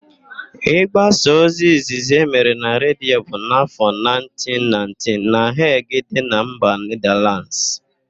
Ị gbasa ozi izizi emere na Redio bụ n'áfọ 1919 na Heg dị na mba Nedalands.